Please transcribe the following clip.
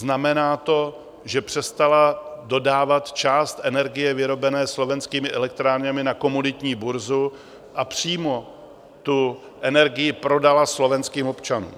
Znamená to, že přestala dodávat část energie vyrobené Slovenskými elektrárnami na komoditní burzu a přímo tu energii prodala slovenským občanům.